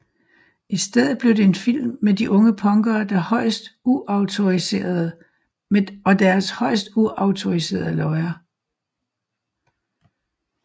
I stedet blev det en film med de unge punkere og deres højst uautoriserede løjer